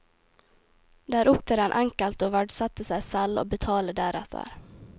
Det er opp til den enkelte å verdsette seg selv og betale deretter.